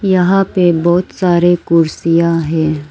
यहां पे बहुत सारे कुर्सियां हैं।